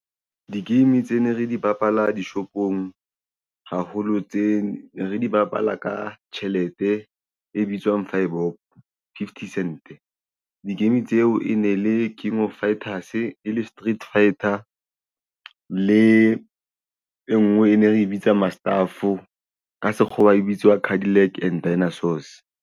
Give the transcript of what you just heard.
Di-game tse ne re di bapala dishopong haholo tse re di bapala ka tjhelete e bitswang five pop fifty cent di-game tseo e ne le Game of fighters e le Street Fighters le e nngwe e ne re e bitsa Maatstaf ka sekgowa e bitswa Cadillac and Dinasours.